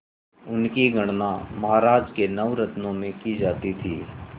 उनकी गणना महाराज के नवरत्नों में की जाती थी